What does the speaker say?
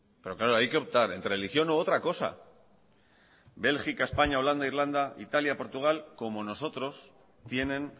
pero claro hay que optar entre religión u otra cosa bélgica españa holanda irlanda italia portugal como nosotros tienen